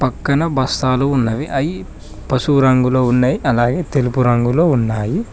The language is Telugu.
పక్కన బస్తాలు ఉన్నవి అయి పసుపు రంగులో ఉన్నయి అలాగే తెలుపు రంగులో ఉన్నాయి.